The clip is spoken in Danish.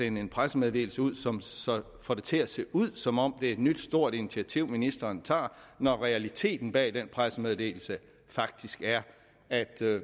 en pressemeddelelse ud som så får det til at se ud som om det er et nyt stort initiativ ministeren tager når realiteten bag den pressemeddelelse faktisk er at